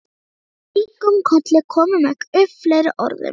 Og við kinkuðum kolli, komum ekki upp fleiri orðum.